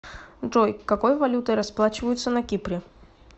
джой какой валютой расплачиваются на кипре